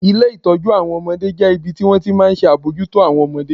Ilé ìtọ́jú àwọn ọmọdé jẹ́ ibi tí wọ́n ti máa ń ṣe àbójútó àwọn ọmọdé